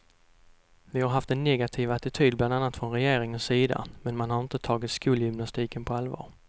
Vi har haft en negativ attityd bland annat från regeringens sida, man har inte tagit skolgymnastiken på allvar.